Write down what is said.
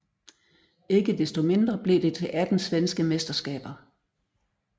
Ikke desto mindre blev det til 18 svenske mesterskaber